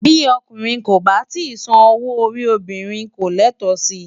Bí ọkùnrin kò bá tíì san owó orí obìnrin, kò ní ẹ̀tọ́ sí i.